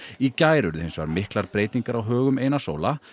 í gær urðu hins vegar miklar breytingar á högum Einars Óla